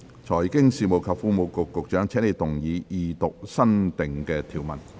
財經事務及庫務局局長，請動議二讀新訂條文。